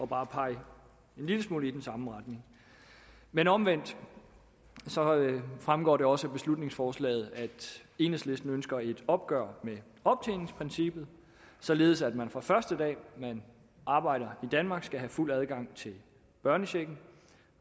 bare en lille smule i den samme retning men omvendt fremgår det også af beslutningsforslaget at enhedslisten ønsker et opgør med optjeningsprincippet således at man fra første dag man arbejder i danmark skal have fuld adgang til børnechecken